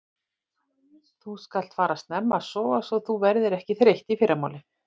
Þú skalt fara snemma að sofa svo þú verðir ekki þreytt í fyrramálið.